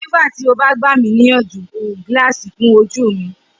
Nigbati o ba gba mi niyanju gilaasi fun oju mi?